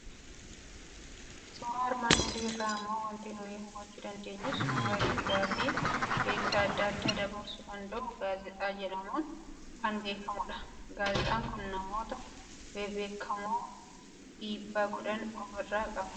Suuraa armaan olii irraa immoo waanti nuyi hubachuu dandeenyu, suuraa ergaa fi beeksisa adda addaa dabarsuu danda'u gaazexaa jedhamuun kan beekamudha. Gaazexaan kun namoota bebbeekamoo dhiibbaa godhan of irraa qaba.